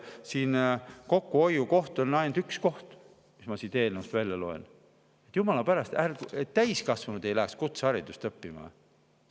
Siin on ainult üks kokkuhoiukoht, mis ma siit eelnõust välja loen – et jumala pärast täiskasvanud ei läheks kutseharidust.